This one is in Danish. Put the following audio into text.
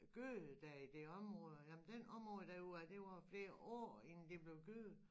Gødet dér i det områder jamen den område der ud af det varer flere år inden det blev gødet